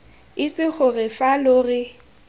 itse gore fa lo re